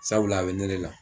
Sabula a bɛ ne ne la.